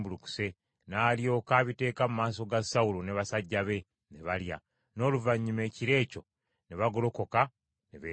N’alyoka abiteeka mu maaso ga Sawulo ne basajja be, ne balya. N’oluvannyuma ekiro ekyo ne bagolokoka ne beetambulira.